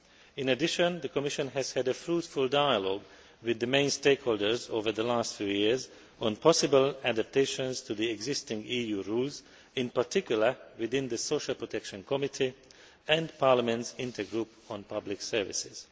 In addition, the Commission has had a fruitful dialogue with the main stakeholders over the last few years on possible adaptations to the existing EU rules in particular, within the Social Protection Committee and Parliament's intergroup on public services.